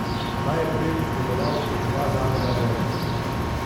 Ta je prej deloval kot dva zavoda v enem.